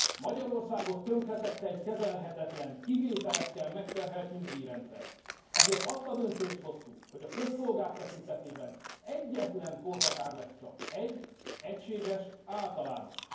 Magyarországot tönkretette egy kezelhetetlen, kivételekkel megterhelt nyugdíjrendszer, ezért azt a döntést hoztuk, hogy a közszolgák tekintetében egyetlen korhatár lesz csak, egy egységes, általános.